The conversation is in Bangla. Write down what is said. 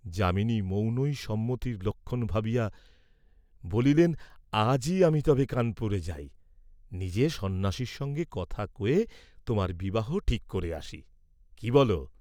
যামিনী মৌনই সম্মতির লক্ষণ ভাবিয়া বলিলেন, "আজই আমি তবে কানপুরে যাই, নিজে সন্ন্যাসীর সঙ্গে কথা কয়ে তােমার বিবাহ ঠিক করে আসি, কি বল?"